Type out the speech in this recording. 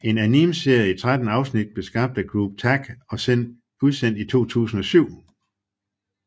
En animeserie i 13 afsnit blev skabt af Group TAC og udsendt i 2007